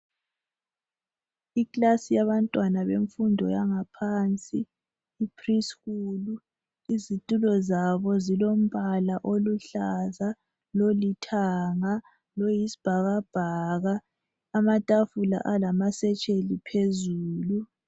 Iclass yabantwana bemfundo yangaphansi ipreschool . Izitulo zabo zilombala oluhlaza lolithanga loyisibhakabhaka. Amatafula alamasetsheli phezulu.